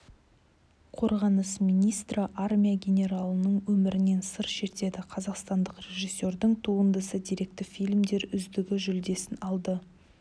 қорғаныс министрі армия генералының өмірінен сыр шертеді қазақстандық режиссердің туындысы деректі фильмдер үздігі жүлдесін алды